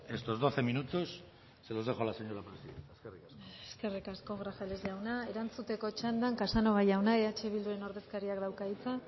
estos doce minutos se los dejo a la señora presidenta eskerrik asko eskerrik asko grajales jauna erantzuteko txandan casanova jaunak eh bilduren ordezkariak dauka hitza